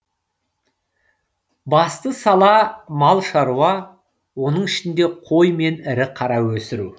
басты сала мал шаруа оның ішінде қой мен ірі қара өсіру